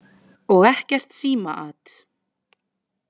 Og ekkert símaat.